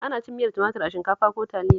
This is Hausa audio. Ana cin miyar tumatur da shinkafa ko Taliya